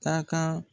Taa kan